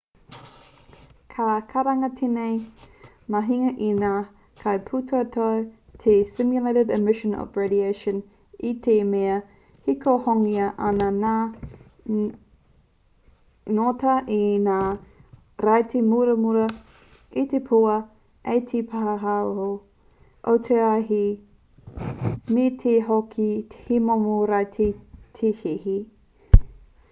ka karangatia tēnei mahinga e ngā kaipūtaiao te stimulated emission of radiation i te mea e hikohikongia ana ngā ngota e ngā raiti muramura e puha ai te pūaho o te raiti me te mea hoki he momo raiti te hihi